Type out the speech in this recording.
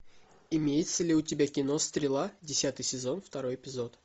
имеется ли у тебя кино стрела десятый сезон второй эпизод